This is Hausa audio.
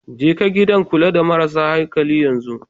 Jeka gidan kula da marasa hankali yanzu.